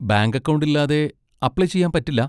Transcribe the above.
Bank account ഇല്ലാതെ apply ചെയ്യാൻ പറ്റില്ല?